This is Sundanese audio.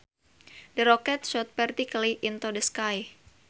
The rocket shot vertically into the sky